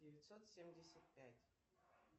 девятьсот семьдесят пять